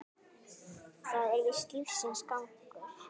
Það er víst lífsins gangur.